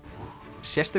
sérstök